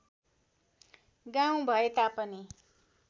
गाउँ भए तापनि